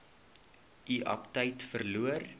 u aptyt verloor